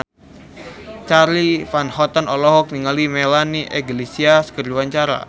Charly Van Houten olohok ningali Melanie Iglesias keur diwawancara